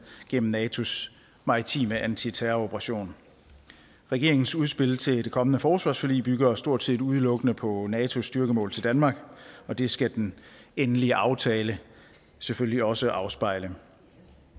gennem natos maritime antiterroroperation regeringens udspil til det kommende forsvarsforlig bygger stort set udelukkende på natos styrkemål til danmark og det skal den endelige aftale selvfølgelig også afspejle